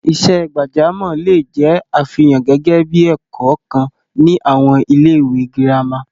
Iṣẹ́ gbàjámọ̀ le è jẹ́ àfihàn gẹ́gẹ́ bí i ẹ̀kọ́ kan ní àwọn ilé-ìwé gírámà.